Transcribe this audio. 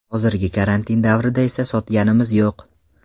Hozirgi karantin davrida esa sotganimiz yo‘q.